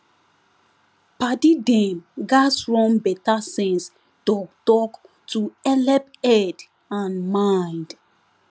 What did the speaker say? padi dem gats run better sense talktalk to helep head and mind